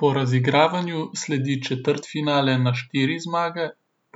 Po razigravanju sledi četrtfinale na štiri zmage,